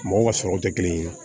Mɔgɔw ka sɔrɔw tɛ kelen ye